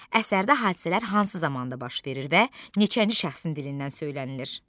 Əsərdə hadisələr hansı zamanda baş verir və neçənci şəxsin dilindən söylənilir?